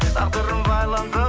тағдырым байланды